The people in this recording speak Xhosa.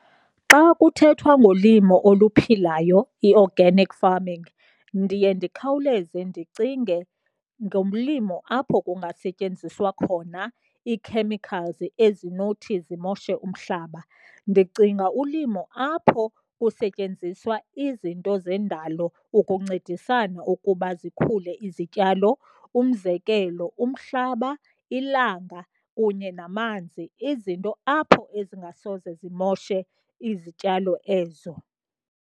Xa kuthethwa ngolimo oluphilayo i-organic farming ndiye ndikhawuleze ndicinge ngolimo apho kungasetyenziswa khona ii-chemicals ezinothi zimoshe umhlaba. Ndicinga ulimo apho kusetyenziswa izinto zendalo ukuncedisana ukuba zikhule izityalo, umzekelo, umhlaba ilanga kunye namanzi izinto apho ezingasoze zimoshe izityalo ezo.